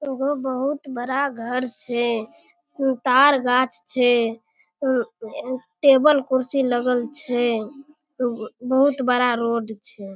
उहो बहुत बड़ा घर छै तार गाछ छै टेबल कुर्सी लगल छै उ बहुत बड़ा रोड छै।